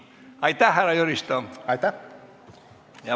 Aitäh, härra Jüristo!